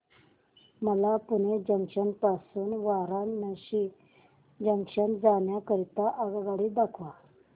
मला पुणे जंक्शन पासून वाराणसी जंक्शन जाण्या करीता आगगाडी दाखवा